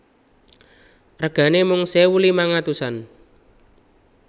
Regane mung sewu limang atusan